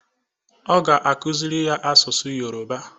Ọ ga-akụzịrị ya asụsụ yoroba.